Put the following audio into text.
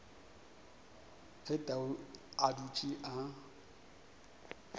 ge tau a dutše a